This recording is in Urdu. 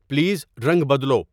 پلیز رنگ بدلو